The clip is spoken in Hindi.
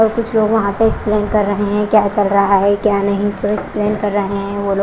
और कुछ लोग वहां पे एक्सप्लेन कर रहे हैं क्या चल रहा है क्या नहीं सब एक्सप्लेन कर रहे हैं वो लो--